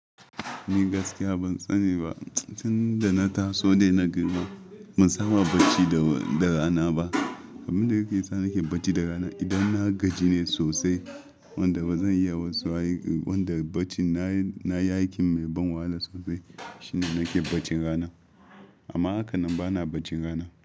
Ni gaskiya ban tsani ba. Tun da na taso dai na girma ban saba bacci da rana ba. Abinda yake sa nake bacci da rana idan na gaji ne sosai wanda bazan iya wasu ayyuka, wanda bacin na yi aiki mai ban wala sosai shine nake bacci rana. Amma hakannan bana baccin rana.